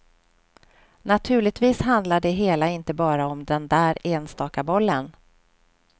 Naturligtvis handlar det hela inte bara om den där enstaka bollen.